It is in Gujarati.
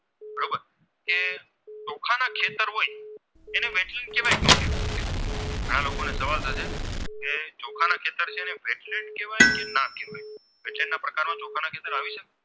તેને ના કેવાય તેના પ્રકારના